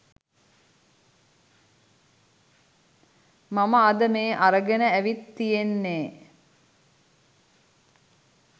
මම අද මේ අරගෙන ඇවිත් තියෙන්නෙ.